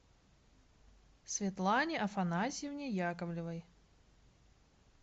светлане афанасьевне яковлевой